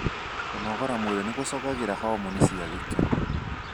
Kũnogora mwĩrĩ nĩ gũcogagira homoni cia gĩkeno.